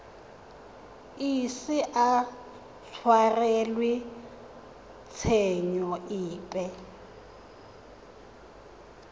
ise a tshwarelwe tshenyo epe